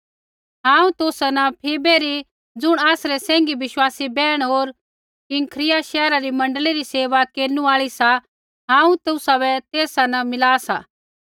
हांऊँ तुसा न फीबे री ज़ुण आसरी सैंघी विश्वासी बैहण होर किंख्रिया शैहरा री मण्डली री सेवा केरनु आल़ी सा हांऊँ तुसाबै तेसा न मिला सा